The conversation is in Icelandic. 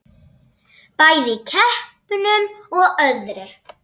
Bæði í keppnum og öðru.